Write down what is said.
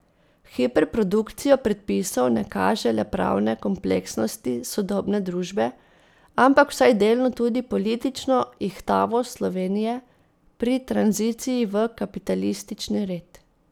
Hiperprodukcija predpisov ne kaže le pravne kompleksnosti sodobne družbe, ampak vsaj delno tudi politično ihtavost Slovenije pri tranziciji v kapitalistični red.